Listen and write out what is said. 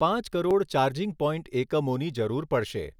પાંચ crore charging point એકમોની જરૂર પડશે.